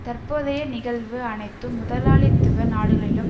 தற்போதைய நிகழ்வு அனைத்து முதலாளித்துவ நாடுகளிலும்